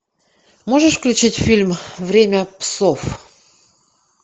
можешь включить фильм время псов